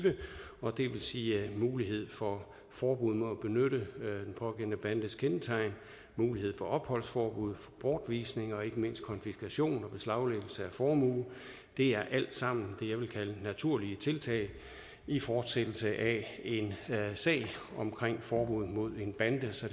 og det vil sige mulighed for forbud mod at benytte den pågældende bandes kendetegn mulighed for opholdsforbud bortvisning og ikke mindst konfiskation og beslaglæggelse af formue det er alt sammen det jeg vil kalde naturlige tiltag i fortsættelse af en sag omkring forbud mod en bande så